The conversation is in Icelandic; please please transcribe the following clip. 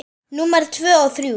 Númer tvö og þrjú.